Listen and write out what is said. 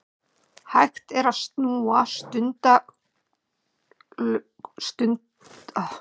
Hægt er að snúa stundaglösunum við óendanlega hratt, án þess að nokkur tími líði.